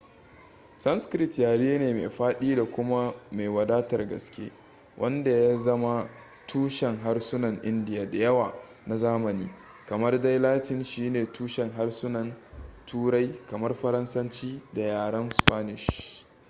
sanskrit yare ne mai fadi da kuma mai wadatar gaske wanda ya zama tushen harsunan indiya da yawa na zamani kamar dai latin shine tushen harsunan turai kamar faransanci da yaran spanish